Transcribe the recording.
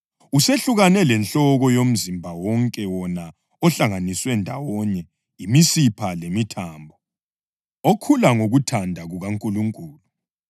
Usehlukane lenhloko yomzimba wonke wona ohlanganiswa ndawonye yimisipha lemithambo, okhula ngokuthanda kukaNkulunkulu.